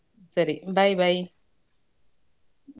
ಸರಿ Bye Bye .